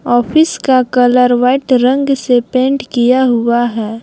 Office का colour white रंग से पेंट किया हुआ है।